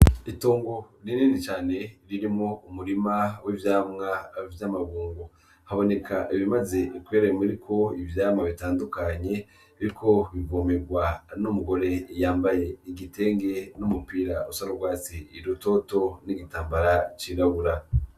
Itongo rinini cane ririmwo umurima w'ivyamwa vy'amabungo .Haboneka ibimaze kwera biriko ivyamwa bitandukanye biriko biravomerwa n'umugore yambaye igitenge n'umupira usa n'urwatsi rutoto n'igitambara cirabura.